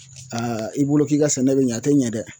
i bolo k'i ka sɛnɛ bɛ ɲɛ a tɛ ɲɛ dɛ